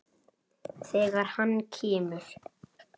Þegar hann kemur.